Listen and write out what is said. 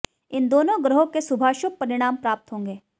इन दोनों ग्रहों के शुभाशुभ परिणाम प्राप्त होंगे